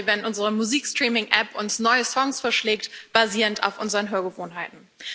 Zum Beispiel, wenn unsere Musikstreaming App uns neue Songs vorschlägt, basierend auf unseren Hörgewohnheiten.